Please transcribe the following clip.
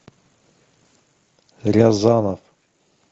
рязанов